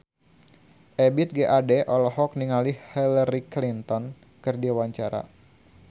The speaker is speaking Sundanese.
Ebith G. Ade olohok ningali Hillary Clinton keur diwawancara